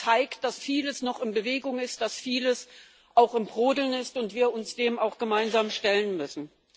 All das zeigt, dass vieles noch in Bewegung ist, dass vieles auch am Brodeln ist und wir uns dem gemeinsam stellen müssen.